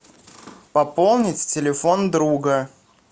пополнить телефон друга